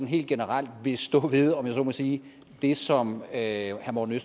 helt generelt vil stå ved om jeg så må sige det som herre morten